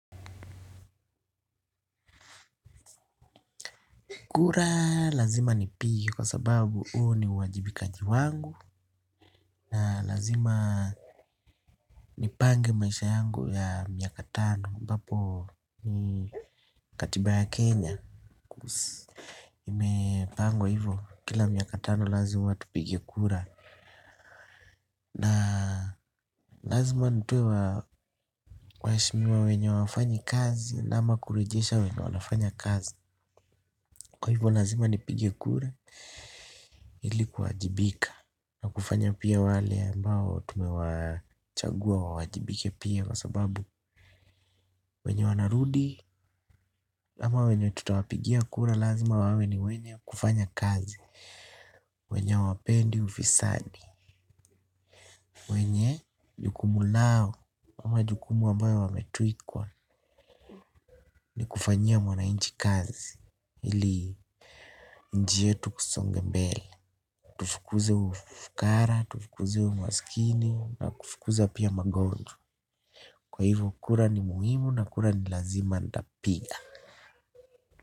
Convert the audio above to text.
Kura lazima nipige kwa sababu huo ni uwajibikaji wangu. Na lazima nipange maisha yangu ya miaka tano ambapo ni katiba ya Kenya. Imepangwa hivyo kila miaka tano lazima tupige kura. Na lazima nitoe waheshimiwa wenye hawafanyi kazi ama kurejesha wenye wafanya kazi. Kwa hivyo lazima nipige kura ili kuwajibika. Na kufanya pia wale ambao tumewachagua wawajibike pia kwa sababu wenye wanarudi ama wenye tutawapigia kura lazima wawe ni wenye kufanya kazi. Wenye hawapendi ufisadi. Wenye jukumu lao ama jukumu ambayo wametwekwa ni kufanyia mwananchi kazi ili njia yetu isonge mbele. Tufukuze ufukara, tufukuze umasikini na kufukuza pia magonjwa. Kwa hivyo kura ni muhimu na kura ni lazima nitapiga.